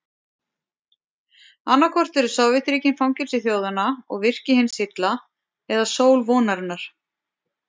Annaðhvort eru Sovétríkin fangelsi þjóðanna og virki hins illa eða sól vonarinnar.